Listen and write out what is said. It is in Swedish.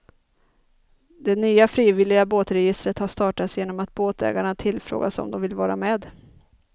Det nya frivilliga båtregistret har startats genom att båtägarna tillfrågats om de vill vara med.